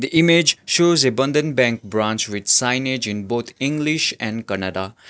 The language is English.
image shows a bandhan bank branch with signage in both english and kannada.